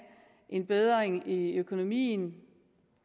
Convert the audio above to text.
en bedring i økonomien